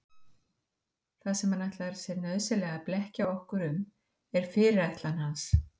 Það sem hann ætlar sér nauðsynlega að blekkja okkur um er fyrirætlun hans.